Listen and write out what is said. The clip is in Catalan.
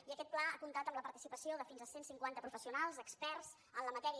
i aquest pla ha comptat amb la participació de fins a cent cinquanta professionals experts en la matèria